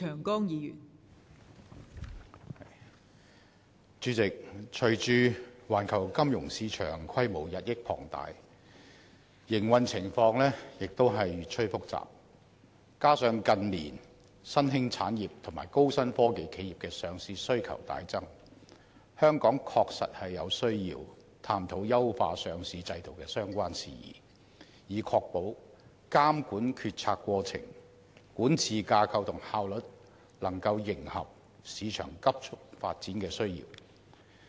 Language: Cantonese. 代理主席，隨着環球金融市場規模日益龐大，營運情況亦越趨複雜，加上近年新興產業及高新科技企業的上市需求大增，香港確實有需要探討優化上市制度的相關事宜，以確保監管決策過程、管治架構及效率能夠迎合市場急速發展的需要。